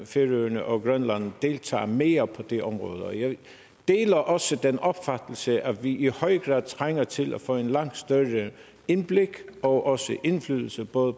færøerne og grønland deltager mere på det område og jeg deler også den opfattelse at vi i høj grad trænger til at få et langt større indblik i og også indflydelse på